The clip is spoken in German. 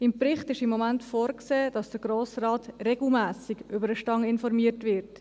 Im Bericht ist im Moment vorgesehen, dass der Grosse Rat regelmässig über den Stand informiert wird.